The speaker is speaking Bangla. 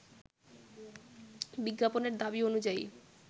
বিজ্ঞাপনের দাবি অনুযায়ী